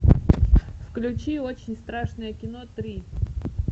включи очень страшное кино три